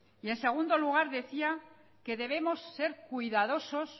en segundo lugar decía que debemos ser cuidadosos